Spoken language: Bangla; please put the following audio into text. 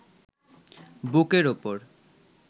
বুকের ওপর